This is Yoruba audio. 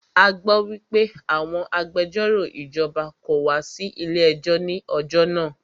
A gbọ́ wípé àwọn agbẹjọ́rò ìjọba kò wá sí ilé ẹjọ́ ní ọjọ́ náà.